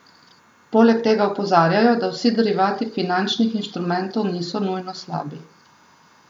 Poleg tega opozarjajo, da vsi derivati finančnih instrumentov niso nujno slabi.